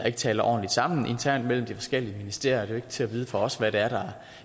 ikke taler ordentligt sammen internt mellem de forskellige ministerier det er til at vide for os hvad det er der